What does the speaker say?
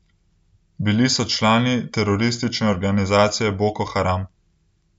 Bili so člani teroristične organizacije Boko Haram.